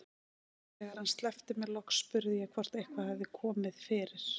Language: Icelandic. Þegar hann sleppti mér loks spurði ég hvort eitthvað hefði komið fyrir.